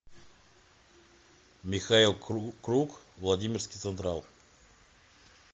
михаил круг владимирский централ